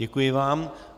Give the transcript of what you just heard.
Děkuji vám.